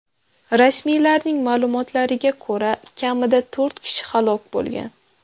Rasmiylarning ma’lumotlariga ko‘ra, kamida to‘rt kishi halok bo‘lgan.